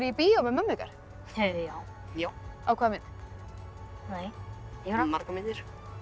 bíó með mömmu ykkar já á hvaða mynd margar myndir